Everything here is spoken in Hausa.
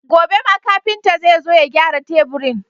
Gobe ma kafinta zai zo ya gyara teburin.